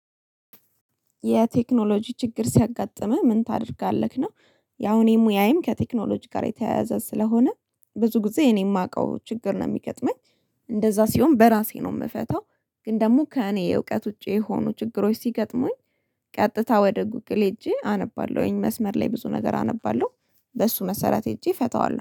የቴክኖሎጂ ችግር ሲያጋጥመህ ምን ታደርጋለክ ነው? ያው እኔም ሙያዬም ከቴክኖሎጂ ጋር የተያያዘ ስለሆነ ብዙ ጊዜ እኔ የማቀው ችግር ነው የሚገጥመኝ እንደዛ ሲሆን በራሴ ነው የምፈታው። ግን ደግሞ ከእኔ እውቀት ውጪ የሆኑ ችግሮች ሲገጥሙኝ ቀጥታ ወደ ጉግል ሄጄ አነባለሁኝ መስመር ላይ ብዙ ነገር አነባለሁ። በሱ መሰረት ሄጄ እፈታዋለሁ